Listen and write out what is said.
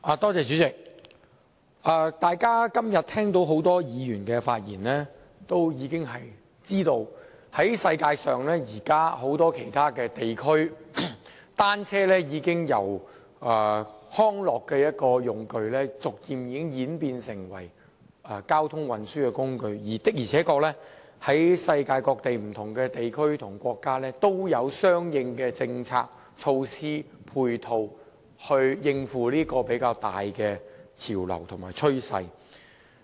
代理主席，聽到今天多位議員的發言後，大家也知道在全球很多其他地區，單車已由康樂工具逐漸演變成為交通運輸工具，而世界各地不同地區和國家也確實有相應的政策、措施和配套，應付這個比較大的潮流和趨勢。